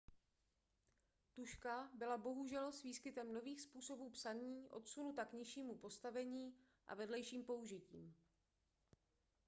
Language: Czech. tužka byla bohužel s výskytem nových způsobů psaní odsunuta k nižšímu postavení a vedlejším použitím